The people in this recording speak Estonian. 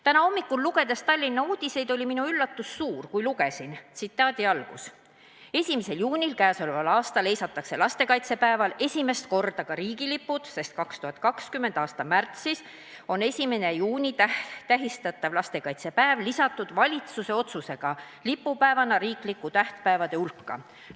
Täna hommikul, lugedes Tallinna uudiseid, oli minu üllatus suur, kui lugesin, et 1. juunil k.a heisatakse lastekaitsepäeval esimest korda ka riigilipud, sest 2020. aasta märtsis on 1. juuni tähistatav lastekaitsepäev lisatud valitsuse otsusega lipupäevana riiklike tähtpäevade hulka.